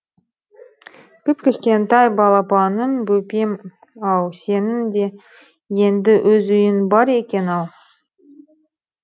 кіп кішкентай балапаным бөпем ау сенің де енді өз үйің бар екен ау